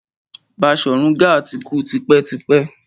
Baṣorun Gaa ti kú tipẹ́ tipẹ́.